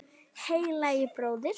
Heilagi bróðir!